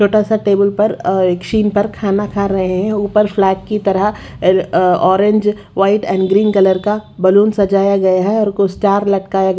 छोटासा टेबल पर अ एक चेयर पर खाना खा रहे हैं ऊपर फ्लैग की तरह uh orange white and green colour का बलून सजाया गया है और को स्टार लटकाया--